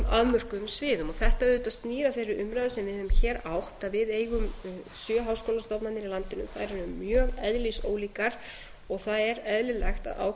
afmörkuðum sviðum þetta auðvitað snýr að þeirri umræðu sem við höfum hér átt að við eigum sjö háskólastofnanir í landinu þær eru mjög eðlisólíkar og það er eðlilegt að